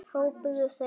hrópuðu þeir.